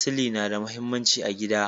Sili na da muhimmanci a gida.